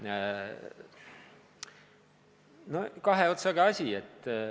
See on kahe otsaga asi.